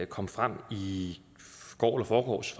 kom frem i går eller forgårs